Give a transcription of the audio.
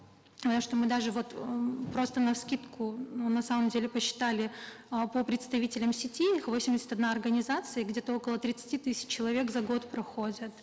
э что мы даже вот м просто навскидку на самом деле посчитали э по представителям сети их восемьдесят одна организация где то около тридцати тысяч человек за год проходят